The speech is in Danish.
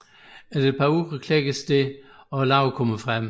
Efter et par uger klækkes det og larven kommer frem